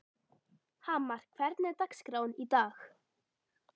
Hamar, hvernig er dagskráin í dag?